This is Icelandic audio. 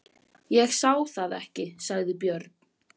Ég sá það ekki, sagði Björn.